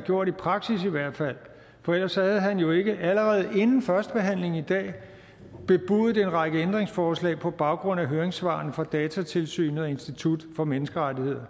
gjort i praksis for ellers havde han jo ikke allerede inden førstebehandlingen i dag bebudet en række ændringsforslag på baggrund af høringssvarene fra datatilsynet og institut for menneskerettigheder